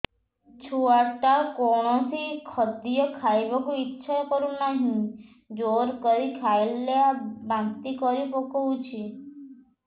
ଛୁଆ ଟା କୌଣସି ଖଦୀୟ ଖାଇବାକୁ ଈଛା କରୁନାହିଁ ଜୋର କରି ଖାଇଲା ବାନ୍ତି କରି ପକଉଛି